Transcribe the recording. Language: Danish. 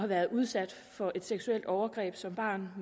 været udsat for et seksuelt overgreb som barn